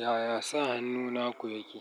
Yaya sa hannuna kuwa yake?